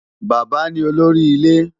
Bàbá ni olórí ilé.